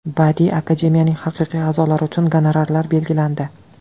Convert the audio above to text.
Badiiy akademiyaning haqiqiy a’zolari uchun gonorarlar belgilandi.